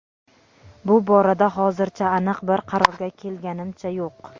bu borada hozircha aniq bir qarorga kelganimcha yo‘q.